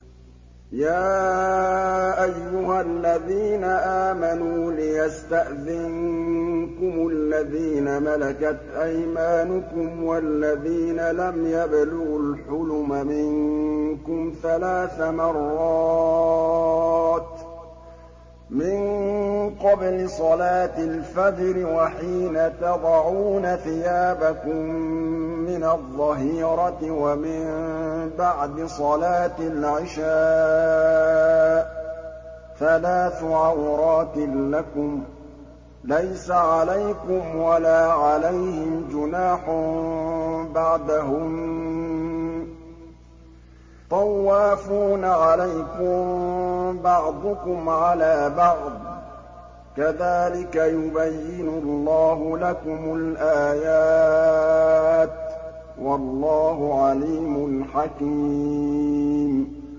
يَا أَيُّهَا الَّذِينَ آمَنُوا لِيَسْتَأْذِنكُمُ الَّذِينَ مَلَكَتْ أَيْمَانُكُمْ وَالَّذِينَ لَمْ يَبْلُغُوا الْحُلُمَ مِنكُمْ ثَلَاثَ مَرَّاتٍ ۚ مِّن قَبْلِ صَلَاةِ الْفَجْرِ وَحِينَ تَضَعُونَ ثِيَابَكُم مِّنَ الظَّهِيرَةِ وَمِن بَعْدِ صَلَاةِ الْعِشَاءِ ۚ ثَلَاثُ عَوْرَاتٍ لَّكُمْ ۚ لَيْسَ عَلَيْكُمْ وَلَا عَلَيْهِمْ جُنَاحٌ بَعْدَهُنَّ ۚ طَوَّافُونَ عَلَيْكُم بَعْضُكُمْ عَلَىٰ بَعْضٍ ۚ كَذَٰلِكَ يُبَيِّنُ اللَّهُ لَكُمُ الْآيَاتِ ۗ وَاللَّهُ عَلِيمٌ حَكِيمٌ